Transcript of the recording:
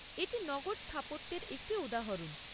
এটি নগর স্থাপত্যের একটি উদাহরণ।